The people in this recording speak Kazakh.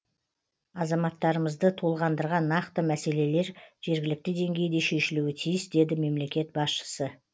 азаматтарымызды толғандырған нақты мәселелер жергілікті деңгейде шешілуі тиіс деді мемлекет басшысы